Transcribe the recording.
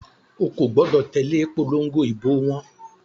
O kò gbọdọ̀ tẹ̀lé ìpòlongo ìbò wọn.